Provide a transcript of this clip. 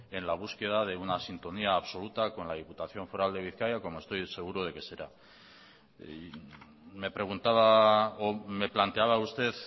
en la búsqueda de una sintonía absoluta con la diputación foral de bizkaia como estoy seguro de que será me preguntaba o me planteaba usted